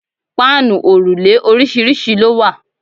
Páànù òrùlé oríṣiríṣi ló wà.